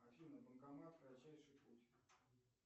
афина банкомат кратчайший путь